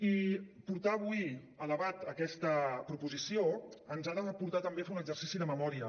i portar avui a debat aquesta proposició ens ha de portar també a fer un exercici de memòria